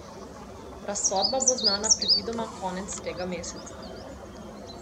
Razsodba bo znana predvidoma konec tega meseca.